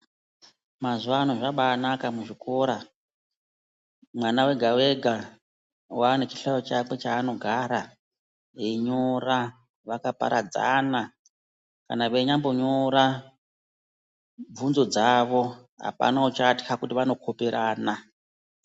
Mazuwa ano zvabanaka muzvikora mwana wega wega wane chihlayo chakwe chaano gara veyinyora vakaparadzana. Kana veinyambo nyora bvunzo dzawo apana uchatywa kuti vanokoperana.